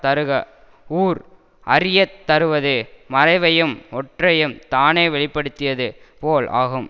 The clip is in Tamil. தருக ஊர் அறிய தருவது மறைவையும் ஒற்ரையும் தானே வெளி படுத்தியது போல் ஆகும்